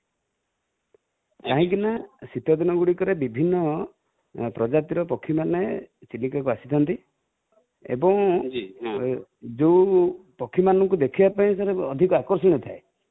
କାହିଁ କି ନା, ଶୀତ ଦିନ ଗୁଡ଼ିକ ରେ ବିଭିନ୍ନ ପ୍ରଜାତି ର ପକ୍ଷୀ ମାନେ ଚିଲିକା କୁ ଆସି ଥାନ୍ତି, ଏବଂ ଯୋଉ ପକ୍ଷୀମାନଙ୍କୁ ଦେଖିବା ପାଇଁ sir ଅଧିକ ଆକର୍ଷଣ ଥାଏ |